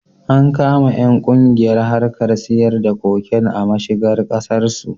An kama ƴan kungiyar harkar siyar da cocaine a mashigar Kasar su